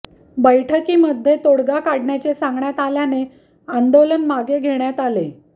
बैठकीमध्ये तोडगा काढण्याचे सांगण्यात आल्याने आंदोलन मागे घेण्यात आले